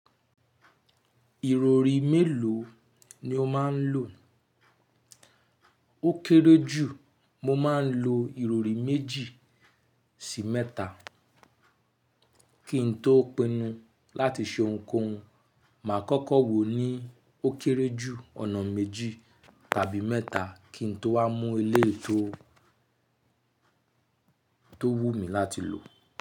Ìrọrí mélòó ni o máa ń lò? Ó kéré jù, mo máa ń lo ìrọrí méjì sí mẹ́ta kí n tó pinnu láti ṣe ohunkóhun. Mà á kọ́kọ́ wò ó ní ó kéré jù ọ̀nà méjì tàbí mẹ́ta kí n tó wá mú ele tó, tó wù mí láti lò.